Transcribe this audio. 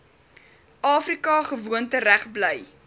afrika gewoontereg bly